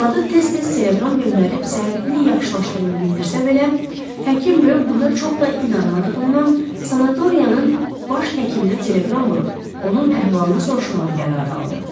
Arvadı tez-tez telegram göndərib səhhətinin yaxşılaşdığını bildirsə belə, həkim buna çox da inanmadığından, sanatoriyanın baş həkiminə telegram vurub onun əhvalını soruşmağa qərar aldı.